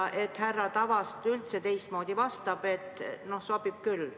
Pole võimalik, et härra Tavast üldse vastab teistmoodi kui et no sobib küll.